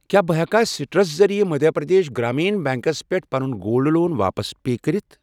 کیٛاہ بہٕ ہٮ۪کا سِٹرس ذٔریعہٕ مٔدھیہ پرٛدیش گرٛامیٖن بیٚنٛکس پٮ۪ٹھ پَنُن گولڈ لون واپس پے کٔرِتھ؟